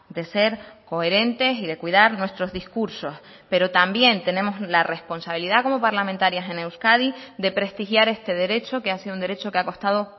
de ser coherentes y de cuidar nuestros discursos pero también tenemos la responsabilidad como parlamentarias en euskadi de prestigiar este derecho que ha sido un derecho que ha costado